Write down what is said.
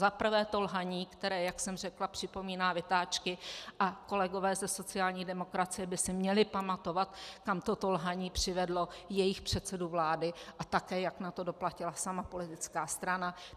Zaprvé to lhaní, které, jak jsem řekla, připomíná vytáčky, a kolegové ze sociální demokracie by si měli pamatovat, kam toto lhaní přivedlo jejich předsedu vlády a také jak na to doplatila sama politická strana.